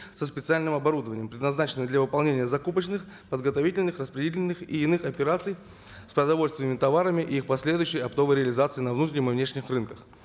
со специальным оборудованием предназначенное для выполнения закупочных подготовительных распределительных и иных операций с продовольственными товарами и их последующей оптовой реализацией на внутреннем и внешних рынках